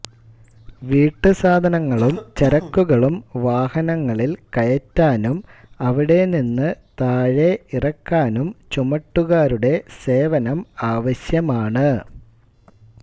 വീട്ടുസാധനങ്ങളും ചരക്കുകളും വാഹനങ്ങളിൽ കയറ്റാനും അവിടെനിന്ന് താഴെ ഇറക്കാനും ചുമട്ടുകാരുടെ സേവനം ആവശ്യമാണ്